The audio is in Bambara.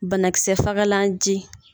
Banakisɛ fagalan ji.